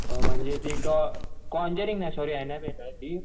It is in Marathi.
म्हणजे ती कोंजेरिन्ग नाही सॉरी अनाबेला आहे ती